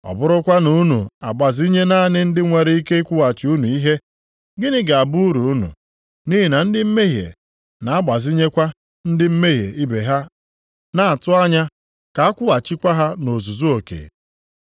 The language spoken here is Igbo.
Ọ bụrụkwa na unu agbazinye naanị ndị nwere ike ịkwụghachi unu ihe, gịnị ga-abụ uru unu? Nʼihi na ndị mmehie na-agbazinyekwa ndị mmehie ibe ha na-atụ anya ka a kwụghachikwa ha nʼozuzu oke.